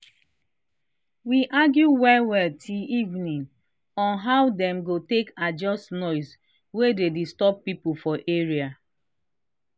we argue well well till evening on how dem go take adjust noise wa dey disturb people for area